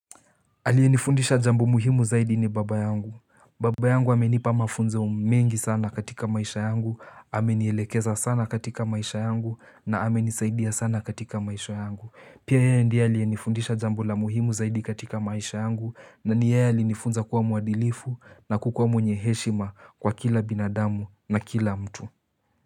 Aliyenifundisha jambu muhimu zaidi ni baba yangu, baba yangu hamenipa mafunzo mengi sana katika maisha yangu, hamenielekeza sana katika maisha yangu na hamenisaidia sana katika maisha yangu. Pia yaya ndia alienifundisha jambu la muhimu zaidi katika maisha yangu na ni yeye alinifunza kuwa mwadilifu na kukuwa mwenye heshima kwa kila binadamu na kila mtu.